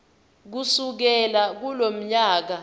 kusukela kulomnyaka kuya